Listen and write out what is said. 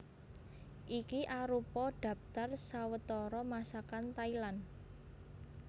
Iki arupa dhaptar sawetara Masakan Thailand